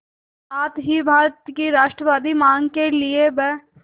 साथ ही भारत की राष्ट्रवादी मांग के लिए ब्